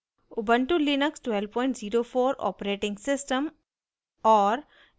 * ubuntu Linux 1204 operating system और